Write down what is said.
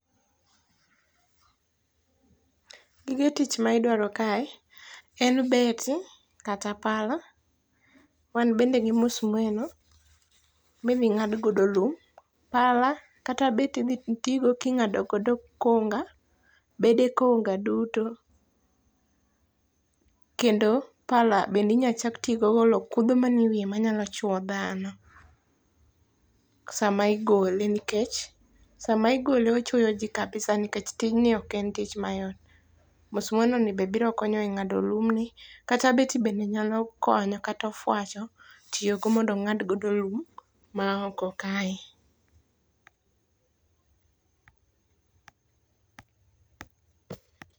Gige tich ma idwaro kae en beti kata pala. Wan bende gi musmeno midhi ng'ad godo lum. Pala kata beti idhi ti go king'ado godo konga. Bede konga duto. Kendo pala bende inya chak tigo golo kudho mani e miye ma nyalo chyo dhano sama igole nikech sam igole ochwoyo ji kabisa nikech tij ni ok en tich mayot. Musmeno ni be biro konyo e ng'ado lumni. Kata beti bende nyalo konyo kata ofwacho tiyogo mondo ong'ad godo lum ma oko kae.